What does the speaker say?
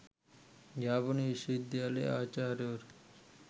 යාපනය විශ්ව විද්‍යාල ආචාර්යවරු